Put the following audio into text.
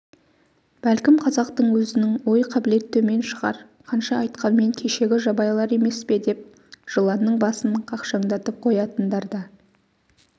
бәлкім қазақтың өзінің ой-қабілет төмен шығар қанша айтқанмен кешегі жабайылар емес пе деп жыланның басын қақшаңдатып қоятындар да